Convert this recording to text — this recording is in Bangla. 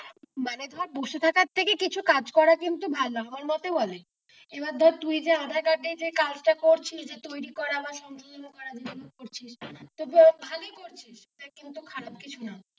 মানে ধরে বসে থাকার থেকে কিছু কাজ করা কিন্তু ভালো আমার মতে বলে এইবার ধরে তুই যে আধার কার্ড এ যে কাজটা করছিস যে তৈরী করা বা সংশোধনা করা যেসব করছিস যেগুলো করছিস তো ভালোই করছিস খারাপ কিছুই না,